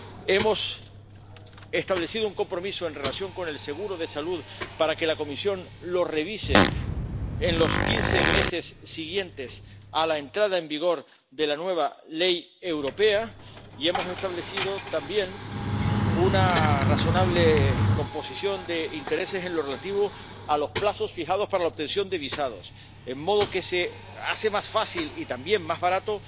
Hemos establecido un compromiso en relación con el seguro de salud para que la Comisión lo revise en los quince meses siguientes a la entrada en vigor de la nueva ley europea, y hemos establecido también una razonable composición de intereses en lo relativo a los plazos fijados para la obtención de visados, de modo que se hace más fácil y también más barato,